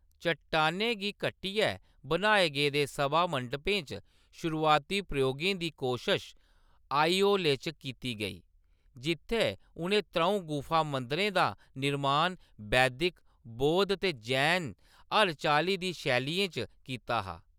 चट्टानै गी कट्टियै बनाए गेदे सभामंडपें च शुरूआती प्रयोगें दी कोशश आईहोले च कीती गेई, जित्थैं उʼनें त्रʼऊं गुफा मंदिरें दा निर्माण वैदिक, बौद्ध ते जैन हर चाल्ली दी शैलियें च कीता हा।